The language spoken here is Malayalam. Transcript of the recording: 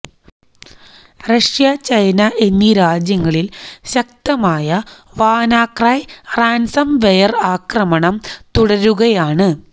റഷ്യ ചൈന എന്നീ രാജ്യങ്ങളിൽ ശക്തമായ വാനാക്രൈ റാൻസംവെയർ ആക്രമണം തുടരുകയാണ്